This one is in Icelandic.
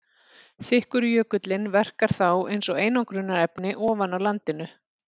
Þykkur jökullinn verkar þá eins og einangrunarefni ofan á landinu.